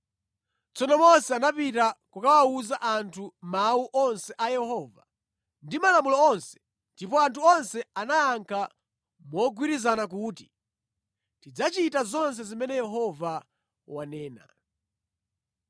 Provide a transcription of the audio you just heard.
Tsono Mose anapita kukawuza anthu mawu onse a Yehova ndi malamulo onse, ndipo anthu onse anayankha mogwirizana kuti, “Tidzachita zonse zimene Yehova wanena.”